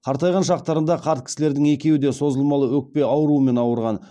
қартайған шақтарында қарт кісілердің екеуі де созылмалы өкпе ауруымен ауырған